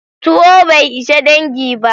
Tuwo bai ishe dangi ba.